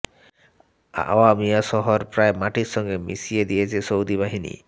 Awamiyah শহর প্রায় মাটির সঙ্গে মিশিয়ে দিয়েছে সৌদি বাহিনী